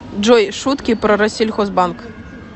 джой шутки про россельхозбанк